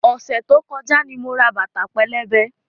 Ọ̀sẹ̀ tó kọjá ni mo ra bàtà pẹlẹbẹ.